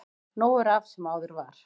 Nú er af sem áður var